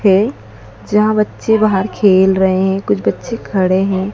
जहां बच्चे बाहर खेल रहे है कुछ बच्चे खड़े है।